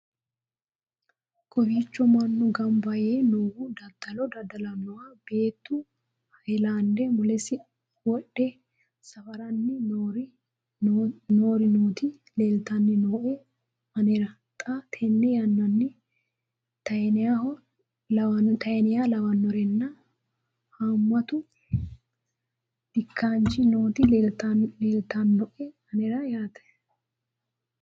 kowiicho mannu gamba yee noohu dadalo dada'lannoho beetu hayilande mulesi wodhe safaranni noori nooti leeltani nooe anera xa tenne yanannani taaneha lawannorinna haammatu dikkaanchi nooti leeltannoe anera yaate